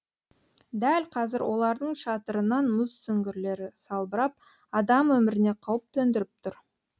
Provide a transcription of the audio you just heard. дәл қазір олардың шатырынан мұз сүңгірлері салбырап адам өміріне қауіп төндіріп тұр